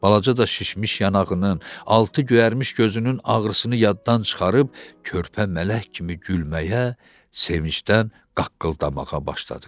Balaca da şişmiş yanağının, altı göyərmiş gözünün ağrısını yaddan çıxarıb körpə mələk kimi gülməyə, sevincdən qaqqıldamağa başladı.